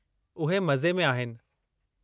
उहे सुठो आहिनि।